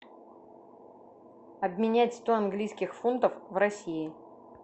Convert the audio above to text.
обменять сто английских фунтов в россии